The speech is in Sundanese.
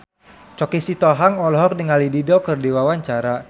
Choky Sitohang olohok ningali Dido keur diwawancara